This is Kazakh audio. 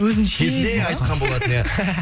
өзінше кезінде деп айтқан болатын ия